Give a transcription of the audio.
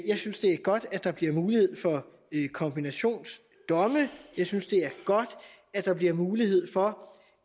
jeg synes det er godt at der bliver mulighed for kombinationsdomme jeg synes det er godt at der bliver mulighed for